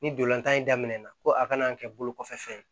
Ni dorolantan in daminɛna ko a kana kɛ bolo kɔfɛ fɛn ye